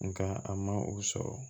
Nga a ma o sɔrɔ